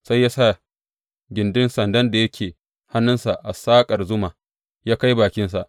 Sai ya sa gindin sandan da yake hannunsa a saƙar zuma, ya kai bakinsa.